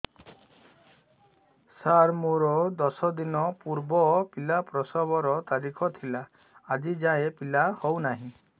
ସାର ମୋର ଦଶ ଦିନ ପୂର୍ବ ପିଲା ପ୍ରସଵ ର ତାରିଖ ଥିଲା ଆଜି ଯାଇଁ ପିଲା ହଉ ନାହିଁ